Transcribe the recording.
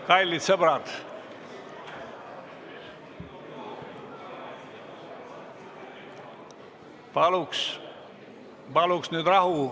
Kallid sõbrad, paluks nüüd rahu!